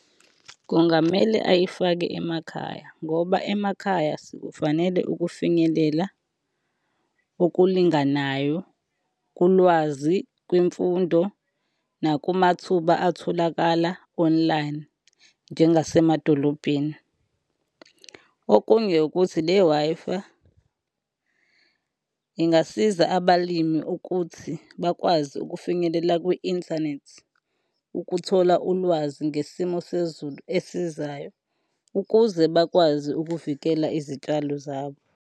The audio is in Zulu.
Kungamele ayifake emakhaya ngoba emakhaya sikufanele ukufinyelela okulinganayo kulwazi, kwimfundo nakumathuba atholakala online njengezasemadolobheni. Okunye ukuthi le-Wi-Fi ingasiza abalimi ukuthi bakwazi ukufinyelela kwi-inthanethi, ukuthola ulwazi ngesimo sezulu esizayo, ukuze bakwazi ukuvikela izitshalo zabo.